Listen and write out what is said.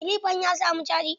Kilifan ya samu caji?